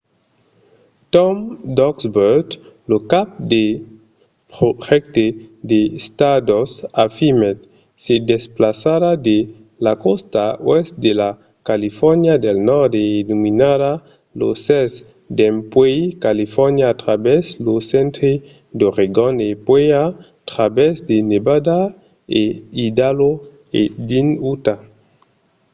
tom duxburt lo cap de projècte de stardust afirmèt: se desplaçarà de la còsta oèst de la califòrnia del nòrd e illuminarà lo cèl dempuèi califòrnia a travèrs lo centre d'oregon e puèi a travèrs de nevada e idaho e dins utah,